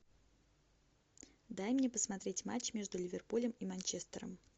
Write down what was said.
дай мне посмотреть матч между ливерпулем и манчестером